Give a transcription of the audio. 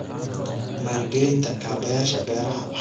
Maalgelinta kaabayaasha beeraha waxay leedahay faa'iidooyin waaweyn.